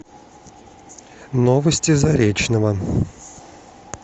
новости заречного